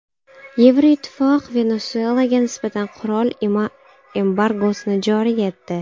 Yevroittifoq Venesuelaga nisbatan qurol embargosini joriy etdi.